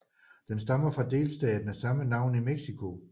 Den stammer fra delstaten af samme navn i Mexico